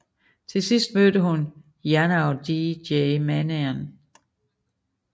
Til sidst mødte hun Yanou og DJ Manian